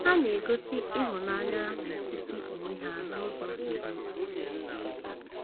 Ha na-egosi ịhụnanya n’etiti onwe ha n’ụzọ zuru oke.